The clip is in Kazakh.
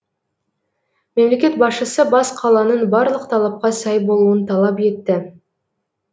мемлекет басшысы бас қаланың барлық талапқа сай болуын талап етті